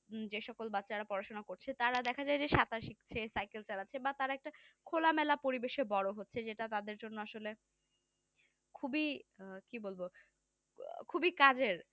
হম যে সকল বাচ্চারা পড়াশোনা করছে তারা দেখা যায় যে সাঁতার শিখছে সাইকেল চালাচ্ছে বা তারা একটা খোলামেলা পরিবেশে বড় হচ্ছে। যেটা তাদের জন্য আসলে খুবই কি বলবো খুবই কাজের